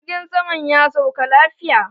Jirgin saman ya sauka lafiya